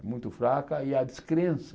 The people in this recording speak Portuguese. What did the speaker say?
É muito fraca e a descrença